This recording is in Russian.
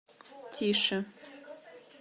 тише